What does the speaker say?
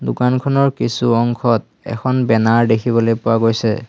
দোকানখনৰ কিছু অংশত এখন বেনাৰ দেখিবলৈ পোৱা গৈছে।